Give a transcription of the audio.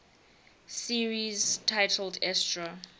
series titled astro